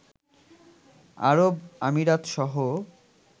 আরব আমিরাতসহ